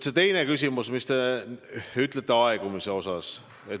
Teine küsimus, aegumine.